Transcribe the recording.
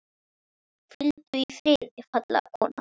Hvíldu í friði, fallega kona.